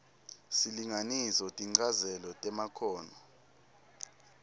silinganiso tinchazelo temakhono